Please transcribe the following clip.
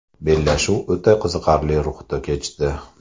Bellashuv o‘ta qiziqarli ruhda kechdi.